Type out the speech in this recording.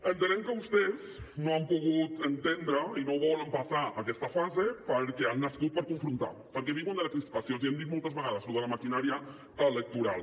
entenem que vostès no han pogut entendre i no volen passar aquesta fase perquè han nascut per confrontar perquè viuen de la crispació els hi hem dit moltes vegades lo de la maquinària electoral